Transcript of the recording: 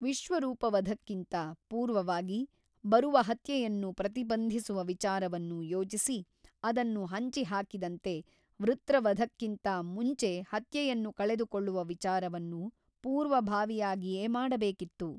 ವಿಶ್ವರೂಪವಧಕ್ಕಿಂತ ಪೂರ್ವವಾಗಿ ಬರುವ ಹತ್ಯೆಯನ್ನು ಪ್ರತಿಬಂಧಿಸುವ ವಿಚಾರವನ್ನು ಯೋಚಿಸಿ ಅದನ್ನು ಹಂಚಿಹಾಕಿದಂತೆ ವೃತ್ರವಧಕ್ಕಿಂತ ಮುಂಚೆ ಹತ್ಯೆಯನ್ನು ಕಳೆದುಕೊಳ್ಳುವ ವಿಚಾರವನ್ನು ಪೂರ್ವಭಾವಿಯಾಗಿಯೇ ಮಾಡಬೇಕಾಗಿತ್ತು.